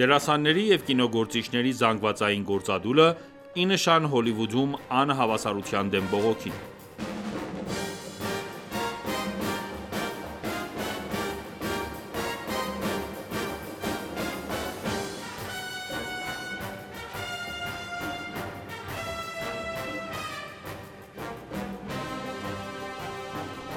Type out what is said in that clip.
Դերասանների և կինոգործիչների զանգվածային գործադուլը՝ ի նշան Հոլիվուդում անհավասարության դեմ բողոքի